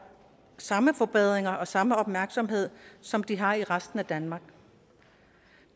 samme forbedringer og samme opmærksomhed som de har i resten af danmark